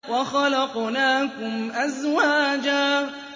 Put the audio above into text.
وَخَلَقْنَاكُمْ أَزْوَاجًا